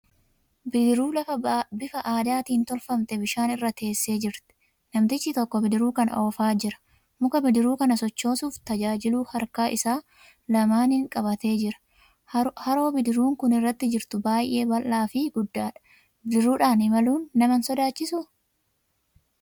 Bidiruu bifa aadaatiin tolfamte bishaan irra teessee jirti. Namtichi tokko bidiruu kana oofaa jira. Muka bidiruu kana sochoosuuf tajaajilu harka isaa lamaaniin qabatee jira. Haroo bidiruun kun irra jirtu baay'ee bal'aafi guddaadha. Bidiruudhaan imaluun nama hin sodaachisuu?